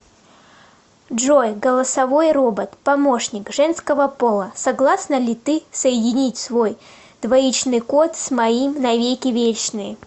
джой голосовой робот помощник женского пола согласна ли ты соединить свой двоичный код с моим на веки вечные